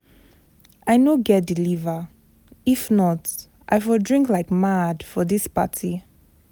I no get the liver, if not I for drink like mad for dis party.